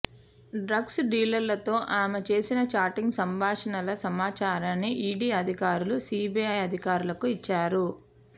drugs డీలర్లతో ఆమె చేసిన చాటింగ్ సంభాషణల సమాచారాన్ని ఈడీ అధికారులు సీబీఐ అధికారులకు ఇచ్చారు